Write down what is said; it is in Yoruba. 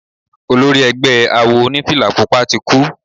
Olori egbẹ́ awo onífìlà Pupa ti kú.